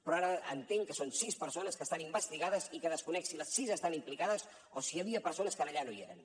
però ara entenc que són sis persones que estan investigades i que desconec si les sis estan implicades o si hi havia persones que allà no hi eren